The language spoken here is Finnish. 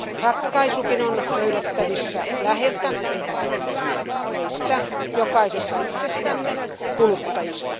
Ratkaisukin on löydettävissä läheltä meistä jokaisesta itsestämme, kuluttajista.